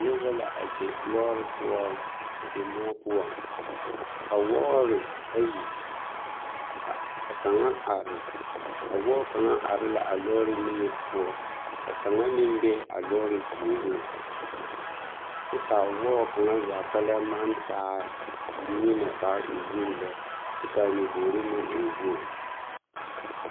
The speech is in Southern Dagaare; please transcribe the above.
Noba la a be lɔɔre poɔ a be moɔ poɔŋ ka wɔɔre ayi a ka kaŋa are a wɔɔ kaŋa are la a lɔɔre niŋe poɔ ka kaŋa meŋ be a lɔɔre puoriŋ kyɛ k'a wɔɔ kaŋa zaa kpɛlɛm maŋ taa nyemɛ k'a e wogi lɛ kyɛ k'a nyobogiri meŋ e wogi.